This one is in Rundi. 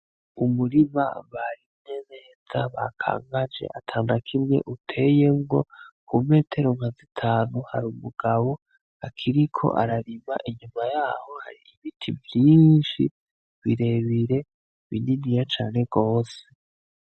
Umurima barimye neza bakangaje atanakimwe uteyemwo Ku metero nka zitanu har'umugabo akiriko ararima inyuma yaho Hari ibiti vyinshi birebire bininiya cane gose .